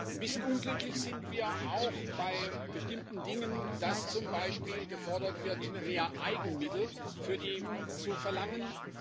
Ein bisschen unglücklich sind wir auch bei bestimmten Dingen, dass zum Beispiel gefordert wird, mehr Eigenmittel für die EU zu verlangen.